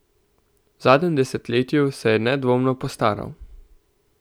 V zadnjem desetletju se je nedvomno postaral.